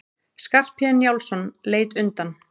Skarphéðinn Njálsson leit undan.